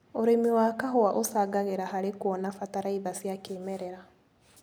ũrĩmi wa kahũa ucangagĩra harĩ kuona bataraitha cia kĩmerera.